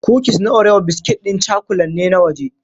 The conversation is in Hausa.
Kukis na Orewo biskit ɗin cakulan ne na waje.